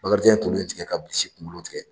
Bakarijan ye tulu in tigɛ ka bilisi kunkolo tigɛ